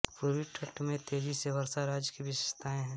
पूर्वी तट में तेजी से वर्षा राज्य की विशेषता है